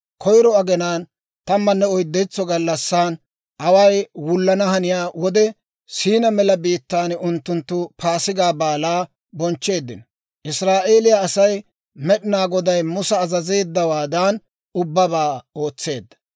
Koyro aginaw tammanne oyddentso gallassi, away wullana haniyaa wode Siinaa Mela biittaan unttunttu Paasigaa Baalaa bonchcheeddino. Israa'eeliyaa Asay Med'inaa Goday Musa azazeeddawaadan ubbabaa ootseedda.